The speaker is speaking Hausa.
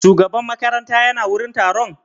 Shugaban makaranta ya na wurin taron?